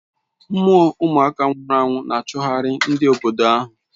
Mmoo umuaka nwuru anwu n'achughari ndi obodo ahu